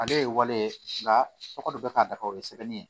Ale ye waleya ye nka tɔgɔ dɔ bɛ ka dafa o ye sɛbɛnni ye